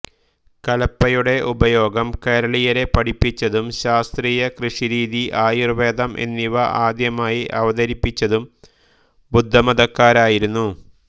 കലപ്പയുടെ ഉപയോഗം കേരളീയരെ പഠിപ്പിച്ചതും ശാസ്ത്രീയ കൃഷിരീതി ആയുർവേദം എന്നിവ ആദ്യമായി അവതരിപ്പിച്ചതും ബുദ്ധമതക്കാരായിരുന്നു